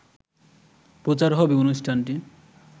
প্রচার হবে অনুষ্ঠানটি